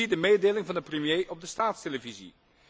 Zie de mededeling van de premier op de staatstelevisie.